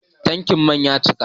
Tankin man ya cika